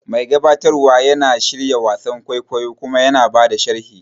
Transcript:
Mai gabatarwa yana shirya wasan kwaikwayo kuma yana ba da sharhi.